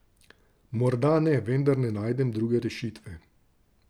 Morda ne, vendar ne najdem druge rešitve.